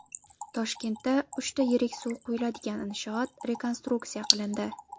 Toshkentda uchta yirik suv quyiladigan inshoot rekonstruksiya qilindi.